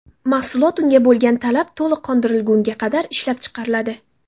Mahsulot unga bo‘lgan talab to‘liq qondirilgunga qadar ishlab chiqariladi.